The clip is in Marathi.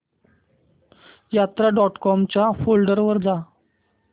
यात्रा डॉट कॉम च्या पोर्टल वर जा